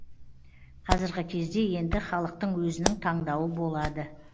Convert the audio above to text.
қазіргі кезде енді халықтың өзінің таңдауы болады